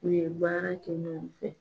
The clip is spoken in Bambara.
U ye baara kɛ ɲɔgɔn fɛ